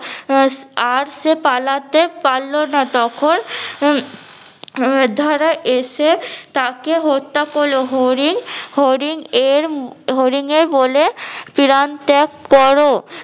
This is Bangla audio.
অ্যাশ আর সে পালতে পারলো না তখন উম ধারা এসে তাকে হত্যা করলো হরিণ হরিণ এর হরিনের বলে পিরান ত্যাগ করো